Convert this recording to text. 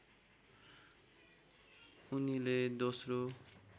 उनीले दोस्रो